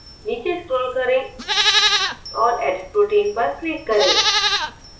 नीचे scroll करें और edit protein पर click करें